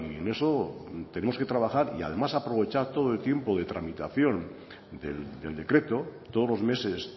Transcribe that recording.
en eso tenemos que trabajar y además aprovechar todo el tiempo de tramitación del decreto todos los meses